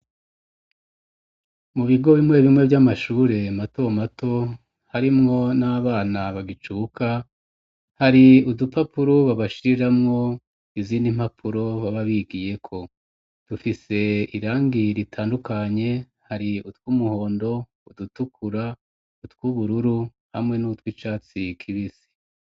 Mu bigo bimwe bimwe vy'amashure mato mato harimwo n'abana bagicuka hari udupapuro babashiriramwo izina impapuro baba bigiyeko, dufise irangi ritandukanye hari utw’umuhondo, udutukura, utwubururu hamwe nutwi catsi kibisi.